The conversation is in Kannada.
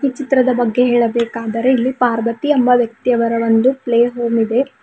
ಈ ಚಿತ್ರದ ಬಗ್ಗೆ ಹೇಳಬೇಕಾದರೆ ಇಲ್ಲಿ ಪಾರ್ವತಿ ಎಂಬ ವ್ಯಕ್ತಿಯವರ ಒಂದು ಪ್ಲೇ ಹೋಮ್ ಇದೆ.